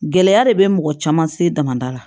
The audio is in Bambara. Gɛlɛya de bɛ mɔgɔ caman se dama la